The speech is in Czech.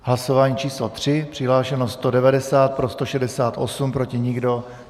Hlasování číslo 3, přihlášeno 190, pro 168, proti nikdo.